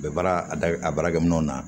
U bɛ baara a da a baarakɛminɛnw na